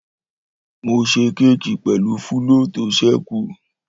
Mó sé kẹki pẹlu fúlọ̀ to sẹku.